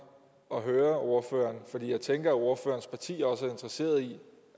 at høre ordføreren om for jeg tænker at ordførerens parti også er interesseret i